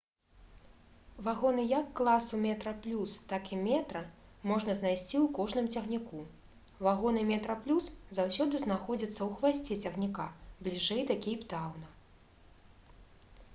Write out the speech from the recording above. вагоны як класу «метраплюс» так і «метра» можна знайсці ў кожным цягніку. вагоны «метраплюс» заўсёды знаходзяцца ў хвасце цягніка бліжэй да кейптаўна